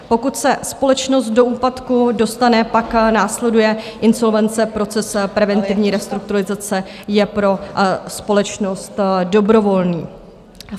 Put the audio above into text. Pokud se společnost do úpadku dostane, pak následuje insolvence, proces preventivní restrukturalizace je pro společnost dobrovolný.